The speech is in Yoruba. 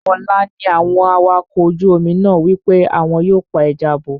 Ọ̀la ni àwọn awakọ̀ ojú omi náà wí pé àwọn yóò pa ẹja bọ̀